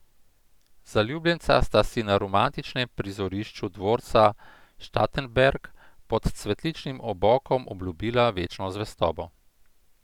Zaljubljenca sta si na romantičnem prizorišču Dvorca Štatenberg pod cvetličnim obokom obljubila večno zvestobo.